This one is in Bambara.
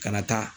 Kana taa